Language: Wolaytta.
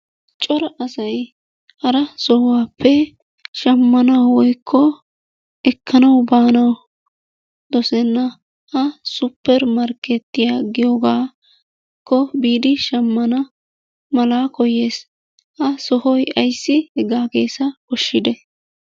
Cora asay hara sohuwappe shammanawu woykko ekkanawu baanawu dosenna. Ha supper markkeetiya giyogaakko biidi shammana mala koyyees. Ha sohoy ayssi hegaa keesaa koshshidee?